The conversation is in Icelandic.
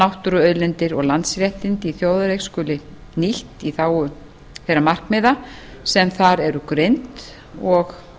náttúruauðlindir og landsréttindi í þjóðareign skuli nýtt í þágu þeirra markmiða sem þar eru greind og